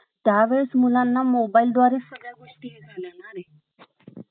आईचा आदर केलाच पाहिजे आणि आई हा अं शब्द असा अनमोल आहे आई या शब्दामध्ये अं संपूर्ण विश्व सामावलेले आहे आणि अं आई हि प्रेम